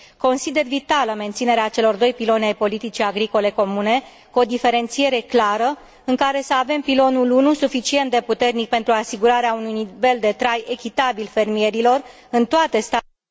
Consider vitală menținerea celor doi piloni ai politicii agricole comune, cu o diferențiere clară, în care să avem pilonul I suficient de puternic pentru asigurarea unui nivel de trai echitabil fermierilor în toate statele...